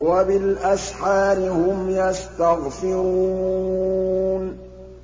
وَبِالْأَسْحَارِ هُمْ يَسْتَغْفِرُونَ